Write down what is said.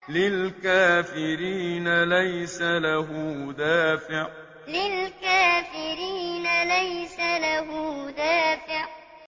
لِّلْكَافِرِينَ لَيْسَ لَهُ دَافِعٌ لِّلْكَافِرِينَ لَيْسَ لَهُ دَافِعٌ